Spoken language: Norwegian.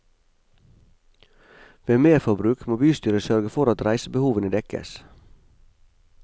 Ved merforbruk må bystyret sørge for at reisebehovene dekkes.